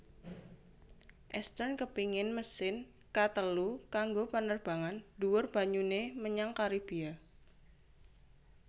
Eastern kepéngin mesin ka telu kanggo panerbangan dhuwur banyuné menyang Karibia